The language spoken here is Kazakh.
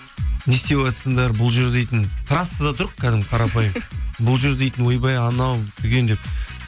не істеватсыңдар бұл жер дейтін трассада тұрық кәдімгі қарапайым бұл жер дейтін ойбай анау түген деп